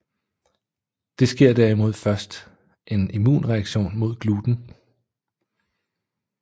Der sker derimod først en immunreaktion mod gluten